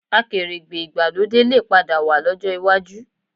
Akèrègbè ìgbàlódé lè padà wà lọ́jọ́ iwájú